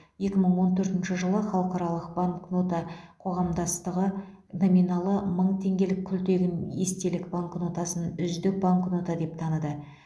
екі мың он төртінші жылы халықаралық банкнота қоғамдастығы номиналы мың теңгелік күлтегін естелік банкнотасын үздік банкнота деп таныды